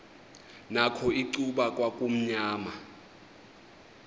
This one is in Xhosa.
nakho icuba kwakumnyama